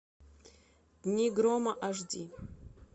дни грома аш ди